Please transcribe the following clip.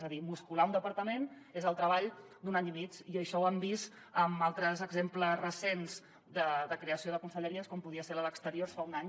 és a dir muscular un departament és el treball d’un any i mig i això ho han vist amb altres exemples recents de creació de conselleries com podria ser la d’exteriors fa un any